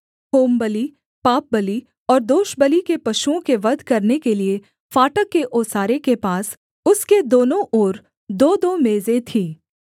होमबलि पापबलि और दोषबलि के पशुओं के वध करने के लिये फाटक के ओसारे के पास उसके दोनों ओर दोदो मेजें थीं